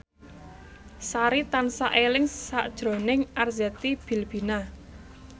Sari tansah eling sakjroning Arzetti Bilbina